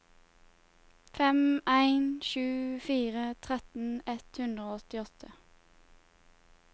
fem en sju fire tretten ett hundre og åttiåtte